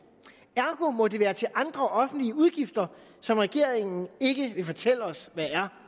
ergo må det være til andre offentlige udgifter som regeringen ikke vil fortælle os